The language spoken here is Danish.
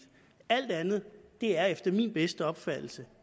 alt andet er efter min bedste opfattelse